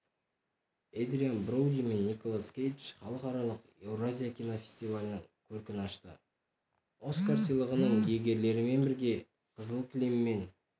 эдриан броуди мен николас кейдж халықаралық еуразия кинофестивалінің көркін ашты оскар сыйлығының иегерлерімен бірге қызыл кілеммен